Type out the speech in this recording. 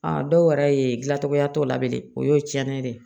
dɔw yɛrɛ ye gilacogoya t'o la bilen dɛ o y'o tiɲɛnen ye dɛ